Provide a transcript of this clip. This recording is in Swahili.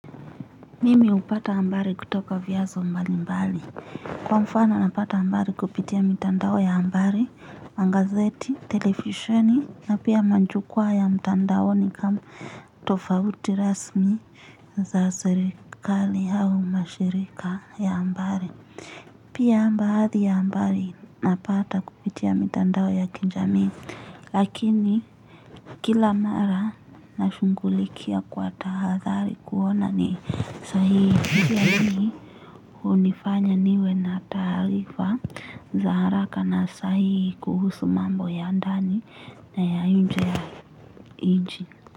Mimi upata ambari kutoka vyanzo mbali mbali. Kwa mfano napata ambari kupitia mitandao ya ambari, mangazeti, telefisheni, na pia manjukuwa ya mitandaoni kama tofauti rasmi za serikali hau mashirika ya ambari. Pia mbaathi ya ambari napata kupitia mitandao ya kinjamii. Lakini kila mara nashungulikia kwa tahadhali kuona ni sahihi ni unifanya niwe na taarifa za haraka na sahihi kuhusu mambo ya ndani na ya nje ya inchi.